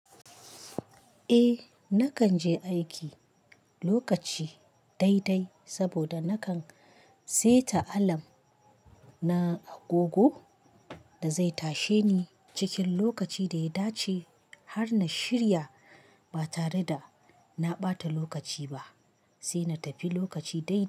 Eh nakan je aiki lokaci dai dai saboda nakan seta alam na agogo da zai tashe ni cikin lokaci da ya dace har na shirya ba tare da na ɓata lokaci ba sai na tafi lokaci dai dai.